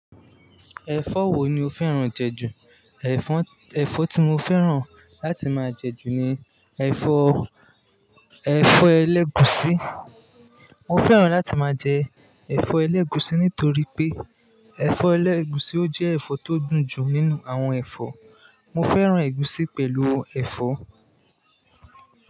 Ẹ̀fọ́ wo ni o fẹ́ràn jẹ jù? Ẹ̀fọ́, ẹ̀fọ́ tí mo fẹ́ràn láti máa jẹ jù ni ẹ̀fọ́, ẹ̀fọ́ ẹlẹ́gùúsí. Mo fẹ́ràn láti máa jẹ ẹ̀fọ́ ẹlẹ́gùúsí nítorí pé ẹ̀fọ́ ẹlẹ́gùúsí ọ jẹ́ ẹ̀fọ́ tó dùn jù nínú àwọn ẹ̀fọ́. Mo fẹ́ràn ẹ̀gúsí pẹ̀lú ẹ̀fọ́.